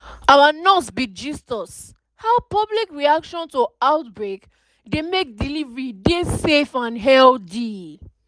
our nurse bin gist is how public reaction to outbreak dey mek delivery dey safe and healthy